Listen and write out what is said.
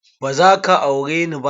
Ba za ka aure ni ba?